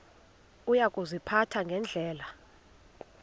uya kuziphatha ngendlela